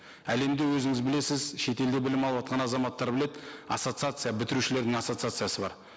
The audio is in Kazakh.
әлемде өзіңіз білесіз шетелде білім алыватқан азаматтар біледі ассоциация бітірушілердің ассоциациясы бар